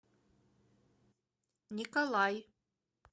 николай